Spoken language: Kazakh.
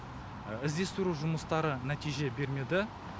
іздестіру жұмыстары нәтиже бермеді